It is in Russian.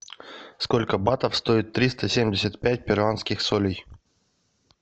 сколько батов стоит триста семьдесят пять перуанских солей